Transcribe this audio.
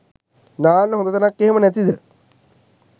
නාන්න හොදතැනක් එහෙම නැතිද?